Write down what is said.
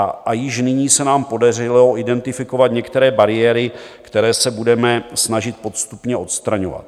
A již nyní se nám podařilo identifikovat některé bariéry, které se budeme snažit postupně odstraňovat.